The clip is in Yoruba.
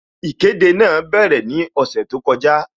Ìkéde náà bẹ̀rẹ̀ ní ọ̀sẹ̀ tó kọjá